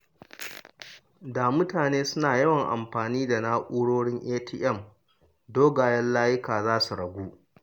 Da mutane suna yawan amfani da na’urorin ATM, dogayen layuka za su ragu.